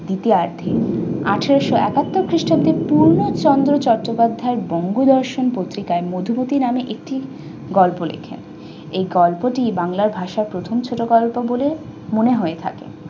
দ্বিতীয়ার্ধে আটারশো আটাত্তর খ্রিস্টাব্দে পূর্ণ চন্দ্র চট্টোপাধ্যায় বঙ্গ বর্ষন পত্রিকায় মধুমতি নামে একটি গল্প লেখেন। এই গল্পটি বাংলা ভাষায় প্রথম ছোটগল্প বলে মনে হয়ে থাকে।